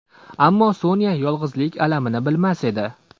Ammo Sonya yolg‘izlik alamini bilmas edi.